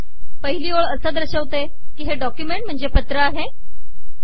पहिली ओळ असे दर्शविते की हे डॉक्युमेंट म्हणजे पत्र आहे